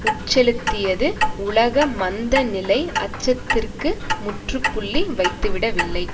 உட்செலுத்தியது உலக மந்த நிலை அச்சத்திற்கு முற்று புள்ளி வைத்துவிடவில்லை